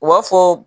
U b'a fɔ